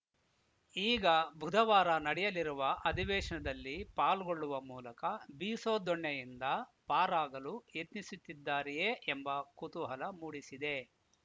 ಈಗ ಬುಧವಾರ ನಡೆಯಲಿರುವ ಅಧಿವೇಶದಲ್ಲಿ ಪಾಲ್ಗೊಳ್ಳುವ ಮೂಲಕ ಬಿಸೋ ದೊಣ್ಣೆಯಿಂದ ಪಾರಾಗಲು ಯತ್ನಿಸುತ್ತಿದ್ದಾರೆಯೇ ಎಂಬ ಕುತೂಹಲ ಮೂಡಿಸಿದೆ